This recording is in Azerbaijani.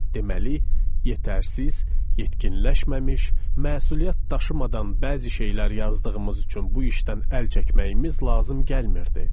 Deməli, yetərsiz, yetkinləşməmiş, məsuliyyət daşımadan bəzi şeylər yazdığımız üçün bu işdən əl çəkməyimiz lazım gəlmirdi.